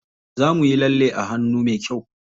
Za muyi lalle a hannu me kyau.